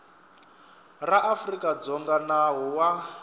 ra afrika dzonga nawu wa